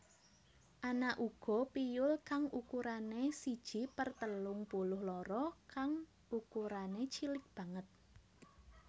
Ana uga piyul kang ukurané siji per telung puluh loro kang ukurané cilik banget